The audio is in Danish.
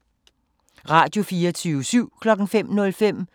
Radio24syv